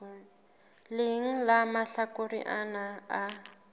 leng la mahlakore ana a